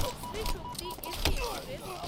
Shri Shakti AC express